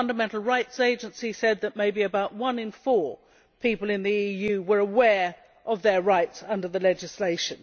the Fundamental Rights Agency said that maybe about one in four people in the EU were aware of their rights under the legislation.